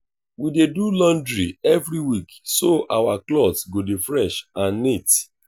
we dey do laundry every week so our clothes go dey fresh and neat.